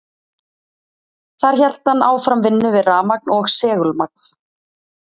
þar hélt hann áfram vinnu við rafmagn og segulmagn